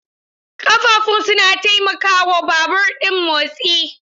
Ƙafafun suna taimaka wa babur ɗin motsi.